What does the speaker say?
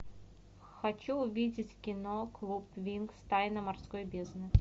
хочу увидеть кино клуб винкс тайна морской бездны